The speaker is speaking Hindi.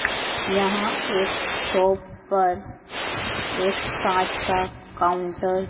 यहां एक शॉप पर एक कांच का काउंटर --